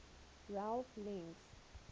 ralph links